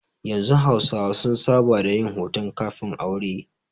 Yanzu hausawa sun saba da yin hoton kafin-aure.